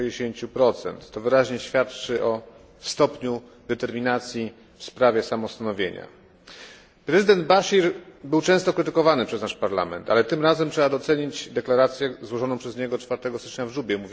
60. To wyraźnie świadczy o stopniu determinacji w sprawie samostanowienia. Prezydent Bashir był często krytykowany przez nasz Parlament, ale tym razem trzeba docenić deklarację złożoną przez niego 24 stycznia w Jubie